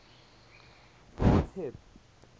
granth hib